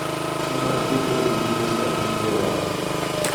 Newachopo e chiro saa abich ewang`e.